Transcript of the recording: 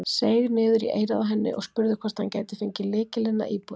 Seig niður í eyrað á henni og spurði hvort hann gæti fengið lykilinn að íbúðinni.